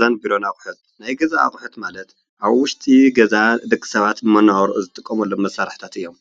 ናይ ገዛን ቢሮን ኣቅሑት ናይ ግዛት ኣቁሑት ማለት ኣብ ውሽጢ ገዛ ደቂ ሰባት መነባብሮ ዝጥቀመሎም መሳርሕታት እዬም።